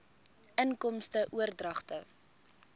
inkomste oordragte